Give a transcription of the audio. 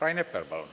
Rain Epler, palun!